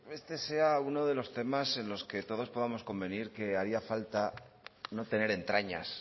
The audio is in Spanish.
este sea uno de los temas en los que todos podamos convenir que haría falta no tener entrañas